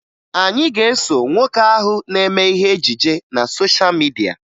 Anyị ga-eso nwoke ahụ na-eme ihe ejije na sosha midia